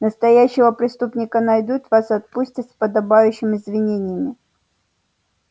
настоящего преступника найдут вас отпустят с подобающим извинениями